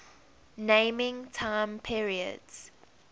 naming time periods